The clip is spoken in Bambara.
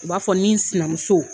U b'a fɔ ni sinamuso.